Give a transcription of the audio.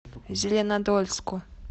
зеленодольску